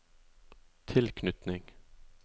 tilknytning